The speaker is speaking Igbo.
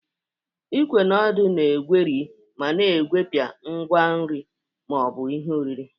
Igwé na ódu na-egweri ma na-egwepịa ngwa nri ma ọ bụ ihe oriri.